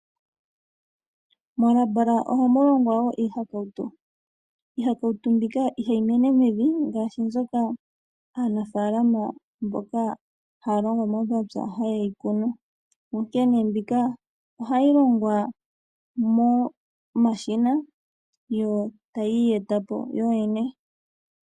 Molabola ohamu longwa wo iihakautu. Iihakautu mbika ihayi mene mevi ngaashi mbyoka aanafaalama mboka haya longo momapya haye yi kunu. Onkene mbika ohayi longwa momashina yo tayi iyeta po yoyene.